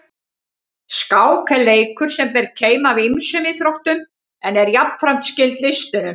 Skák er leikur sem ber keim af ýmsum íþróttum en er jafnframt skyld listunum.